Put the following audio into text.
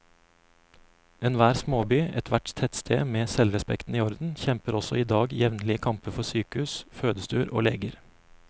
Enhver småby, ethvert tettsted med selvrespekten i orden, kjemper også i dag jevnlige kamper for sykehus, fødestuer og leger.